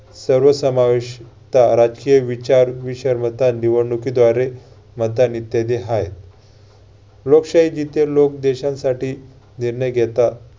सर्व समाविष~ काराचे विचार ही सर्वता निवडणूकीद्वारे मतदान इत्यादि आहे. लोकशाही जिथे लोक देशासाठी निर्णय घेतात